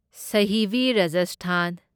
ꯁꯥꯍꯤꯕꯤ Rajasthan